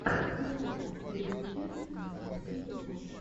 поставь последнюю часть анастасии кош